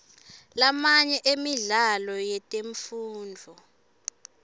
lamanye emidlalo yetemfundvo